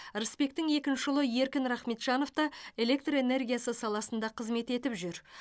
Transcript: рысбектің екінші ұлы еркін рахметжанов та электр энергиясы саласында қызмет етіп жүр